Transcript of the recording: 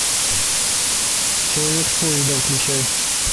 человек с поезда включай